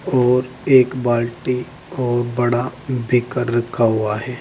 और एक बाल्टी और बड़ा बेकर रखा हुआ है।